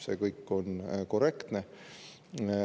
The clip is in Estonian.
See kõik on korrektne.